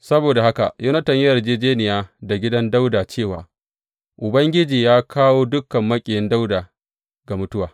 Saboda haka Yonatan ya yi yarjejjeniya da gidan Dawuda cewa Ubangiji yă kawo dukan maƙiyin Dawuda ga mutuwa.